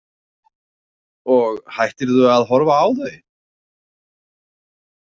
Og hættirðu að horfa á þau?